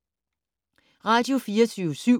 Radio24syv